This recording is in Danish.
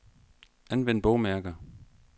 Anvend bogmærker.